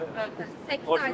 Səkkiz ay.